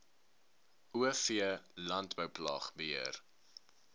o v landbouplaagbeheer